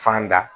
Fan da